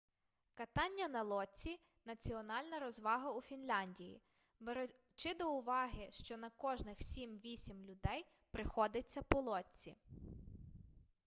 катання на лодці національна розвага у фінляндії беручи до уваги що на кожних сім-вісм людей приходиться по лодці